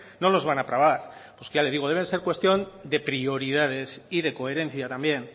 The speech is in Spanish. no los van a trabar pues ya le digo deben ser cuestión de prioridades y de coherencia también